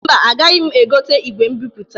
Mba, agaghị egote igwe mbipụta.